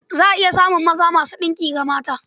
Za a iya samun maza masu ɗinki ga mata.